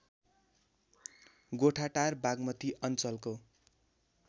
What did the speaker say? गोठाटार बागमती अञ्चलको